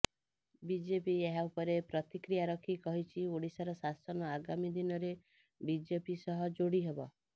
BJP ଏହା ଉପରେ ପ୍ରତିକ୍ରିୟା ରଖି କହିଛି ଓଡିଶାର ଶାସନ ଆଗାମୀ ଦିନରେ ବିଜେପି ସହ ଯୋଡି ହେବ